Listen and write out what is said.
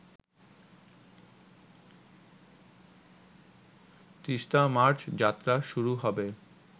Teesta march যাত্রা শুরু হবে